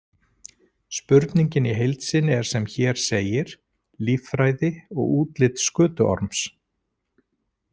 Spurningin í heild sinni er sem hér segir: Líffræði og útlit skötuorms?